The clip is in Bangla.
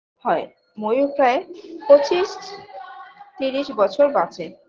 হয় ময়ূর প্রায় পঁচিশ তিরিশ বছর বাঁচে